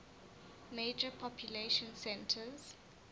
major population centers